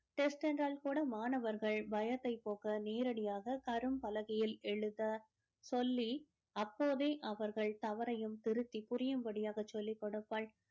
test என்றால் கூட மாணவர்கள் பயத்தை போக்க நேரடியாக கரும்பலகையில் எழுத சொல்லி அப்போதே அவர்கள் தவறையும் திருத்தி புரியும்படியாக சொல்லிக் கொடுப்பாள்.